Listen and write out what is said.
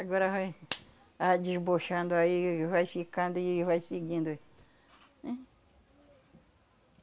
Agora vai (tapa) a aí, vai ficando e vai seguindo, é... Hein...